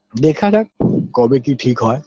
দেখা যাক কবে কি ঠিক হয়